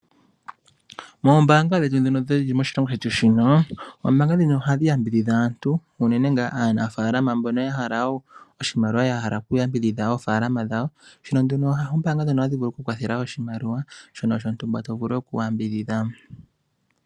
Moombaanga dhetu dhono dhili moshilongo shetu shino, oombaanga dhino ohadhi yambidhidha aantu unene ngaa aanafaalama mbono ya hala oshimaliwa ya hala oku yambidhidha oofaalama dhawo. Shino nduno oombaanga dhono ohadhi vulu oku kwathela oshimaliwa shono shontumba shono to vulu oku yambidhidha.